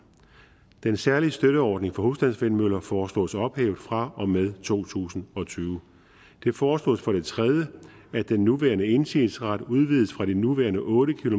den særlige støtteordning for husstandsvindmøller foreslås ophævet fra og med to tusind og tyve det foreslås for det tredje at den nuværende indsigelsesret udvides fra de nuværende otte